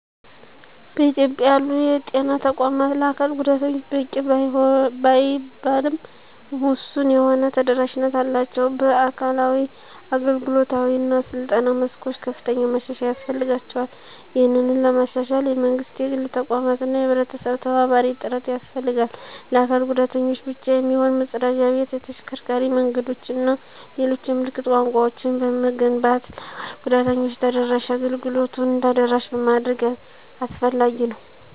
በኢትዮጵያ ያሉ የጤና ተቋማት ለአካል ጉዳተኞች በቂ ባይባልም ውሱን የሆነ ተደራሽነት አላቸው። በአካላዊ፣ አገልግሎታዊ እና ስልጠና መስኮች ከፍተኛ ማሻሻያ ያስፈልጋቸዋል። ይህንን ለማሻሻል የመንግስት፣ የግል ተቋማት እና የህብረተሰብ ተባባሪ ጥረት ያስፈልጋል። ለአካል ጉዳተኞች ብቻ የሚሆን መፀዳጃ ቤት፣ የተሽከርካሪ መንገዶችን እና ሌሎች የምልክት ቋንቋወችን በመገንባት ለ አካል ጉዳተኞች ተደራሽ አገልግሎቱን ተደራሽ ማድረግ አስፈላጊ ነው።